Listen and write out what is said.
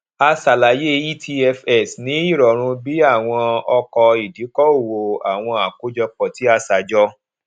a ṣàlàyé etfs ní ìrọrùn bí àwọn ọkọ ìdíkòòwò àwọn àkójọpọ tí a ṣajọ